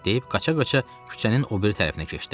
deyib qaça-qaça küçənin o biri tərəfinə keçdi.